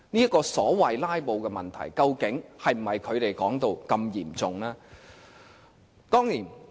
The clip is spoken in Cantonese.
這個所謂"拉布"的問題，究竟是否如他們所說般嚴重呢？